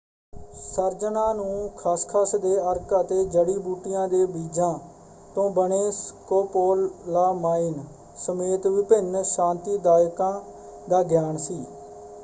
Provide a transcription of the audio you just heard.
ਸਰਜਨਾਂ ਨੂੰ ਖਸਖਸ ਦੇ ਅਰਕ ਅਤੇ ਜੜੀ-ਬੂਟੀਆਂ ਦੇ ਬੀਜ਼ਾਂ ਤੋਂ ਬਣੇ ਸਕੋਪੋਲਾਮਾਈਨ ਸਮੇਤ ਵਿਭਿੰਨ ਸ਼ਾਂਤੀਦਾਇਕਾਂ ਦਾ ਗਿਆਨ ਸੀ।